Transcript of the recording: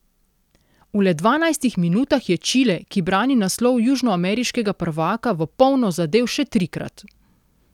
V le dvanajstih minutah je Čile, ki brani naslov južnoameriškega prvaka, v polno zadel še trikrat.